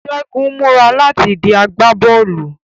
Segun ń mura lati di agbabọọlu